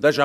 würden.